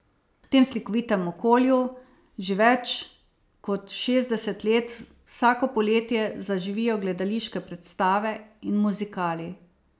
V tem slikovitem okolju že več kot šestdeset let vsako poletje zaživijo gledališke predstave in muzikali.